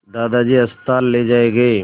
दादाजी अस्पताल ले जाए गए